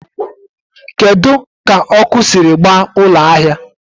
keduzị ka ọkụ siri gbaa ụlọ ahịa?